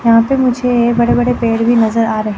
यहा पे मुझे बडे बडे पेड़ भी नजर आ रहे--